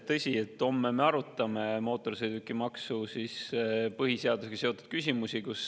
Tõsi, homme me arutame mootorsõidukimaksu ja põhiseadusega seotud küsimusi.